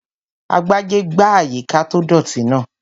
Agbájé gbá àyíká tó dọ̀ọ̀tì náà